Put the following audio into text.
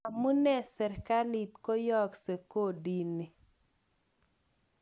Amune serkalit koyokse kodi ni?